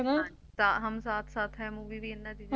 Hum Saath saath Hain Movie ਇਹਨਾਂ ਦੀ ਹੈ